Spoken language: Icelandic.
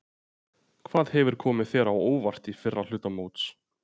Hvað hefur komið þér á óvart í fyrri hluta móts?